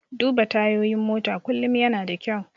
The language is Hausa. Duba tayoyin mota kullum yana da kyau.